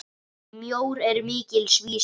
Mjór er mikils vísir.